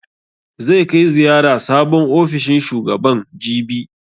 Zai kai ziyara sabon ofishin shugaban, jibi.